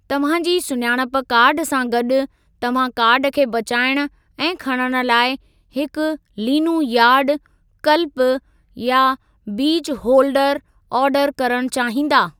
तव्हां जी सुञाणप कार्डु सां गॾु, तव्हां कार्डु खे बचाइणु ऐं खणणु लाइ हिकु लीनु यार्ड, कल्पि, या बीज होलडर आर्डरु करणु चाहींदा।